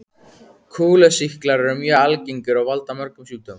Kúlusýklar eru mjög algengir og valda mörgum sjúkdómum.